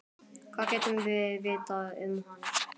Hvað getum við vitað um hann?